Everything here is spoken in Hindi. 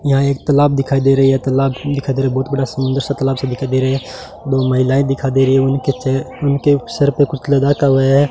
यहां एक तालाब दिखाई दे रही है तालाब दिखाई दे रही बहुत बड़ा सुंदर सा तालाब सा दिखाई दे रहे है दो महिलाएं दिखा दे रही है उनके च उनके सर पे कुछ लगाता है।